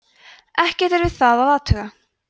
ekkert er við það að athuga